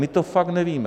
My to fakt nevíme.